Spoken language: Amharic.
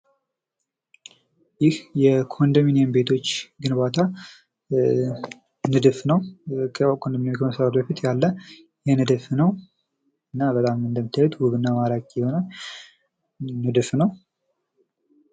ይህ የኮንዶሚኒየም ቤቶች ግንባታ ንድፍ ነው። ኮንዶሚኒየም ከመሰራቱ በፊት ያለ ንድፍ ነው። እና በጣም እንደምታዩት ዉብ እና ማራኪ ንድፍ ነው።